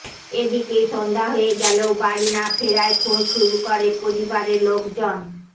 এদিকে সন্ধ্যা হয়ে গেলেও বাড়ি না ফেরায় খোঁজ শুরু করে পরিবারের লোকজন